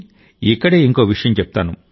ఇక్కడే ఇంకో విషయం చెప్తాను